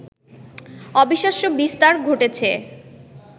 অবিশ্বাস্য বিস্তার ঘটেছে